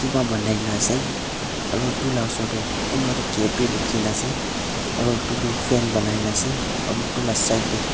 keba banai na ase aro etu laa osor tey kunba toh cap bhi bukhi na ase aro etu toh fan banai na ase aro etu laa side tey--